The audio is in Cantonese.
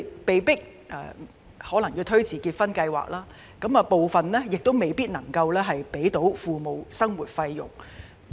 他們可能被迫推遲結婚計劃，部分人亦未必能給予父母生活費。